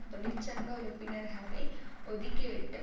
தொழிற்சங்க உறுப்பினர்களை ஒதுக்கி விட்டு